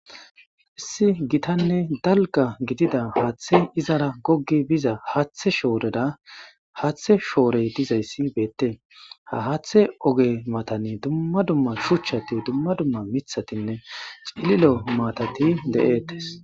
Issi gitanne dalga gidida haaththe izara goggi biza haathe shooreda haaththe shoorey dizayssi beette ha haathe oge matani dumma dumma shuchchati dumma dumma mithatinne cililo matati de'eettes.